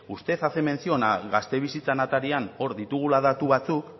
usted hace mención al gaztebizhitza atarian hor ditugula datu batzuk